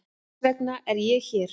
Þess vegna er ég hér.